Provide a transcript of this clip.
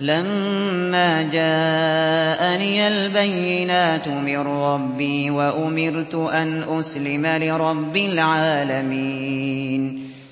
لَمَّا جَاءَنِيَ الْبَيِّنَاتُ مِن رَّبِّي وَأُمِرْتُ أَنْ أُسْلِمَ لِرَبِّ الْعَالَمِينَ